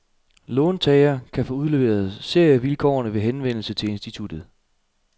Låntager kan få udleveret serievilkårene ved henvendelse til instituttet.